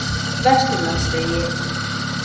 Vesturlandsvegi